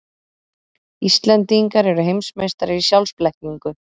Íslendingar eru heimsmeistarar í sjálfsblekkingu.